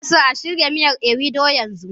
Ina so a shirya miyar ewedu yanzu